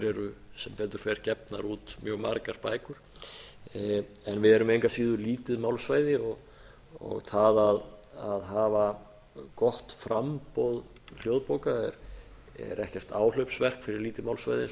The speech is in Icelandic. eru sem betur fer gefnar út mjög margar bækur en við erum engu að síður lítið málsvæði og það að hafa gott framboð hljóðbóka er ekkert áhlaupsverk fyrir lítið málsvæði eins og